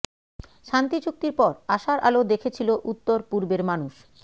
শান্তি চুক্তির পর আশার আলো দেখেছিলো উত্তর পূর্বের মানুষ